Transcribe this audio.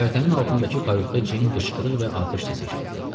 Göyərtənin altındakı kayutda Ceyn qışqırıq və atəş səsi eşitdi.